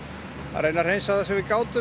reyna að hreinsa það sem við gátum